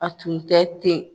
A tun tɛ ten.